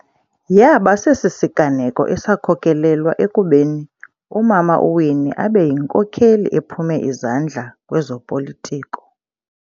Yaba sesi siganeko esakhokelelwa ekubeni umama uWinnie abe yinkokheli ephume izandla kwezopolitiko.